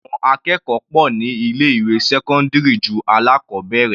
Àwọn akẹ́kọ̀ọ́ pọ̀ ní ilé ìwé sẹ́cọ́ndírì ju alákọbẹ̀rẹ̀.